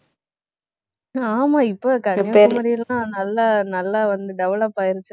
ஆமா இப்ப கன்னியாகுமரியிலா நல்லா நல்லா வந்து develop ஆயிருச்சு